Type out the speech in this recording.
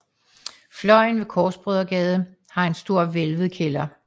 Fløjen ved Korsbrødregade har en stor hvælvet kælder